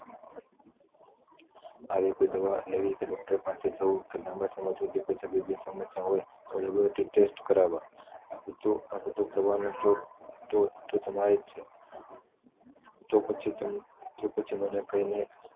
આવી કોઈ દવા લેવી કે ડોક્ટર પાસે જવું ક પછી લાંબા સમય થી હોય તો ટેસ્ટ કારવવા આ બધુ કરવાનું તો તમારે જ છે તો પછી કહીને